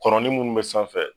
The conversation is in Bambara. Kɔnɔnin minnu bɛ sanfɛ.